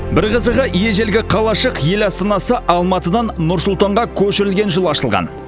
бір қызығы ежелгі қалашық ел астанасы алматыдан нұр сұлтанға көшірілген жылы ашылған